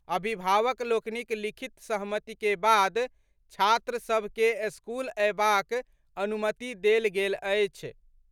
अभिभावक लोकनिक लिखित सहमति के बाद छात्र सभ के स्कूल अयबाक अनुमति देल गेल अछि।